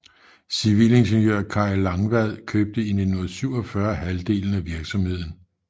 Civilingeniør Kay Langvad købte i 1947 halvdelen af virksomheden